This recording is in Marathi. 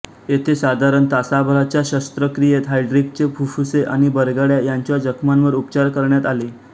येथे साधारण तासाभराच्या शस्त्रक्रियेत हायड्रीकचे फुफ्फुसे आणि बरगड्या यांच्या जखमावर उपचार करण्यात आले